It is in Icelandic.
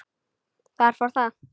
Þar fór það.